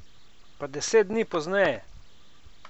Pa deset dni pozneje?